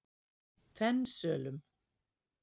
Fensölum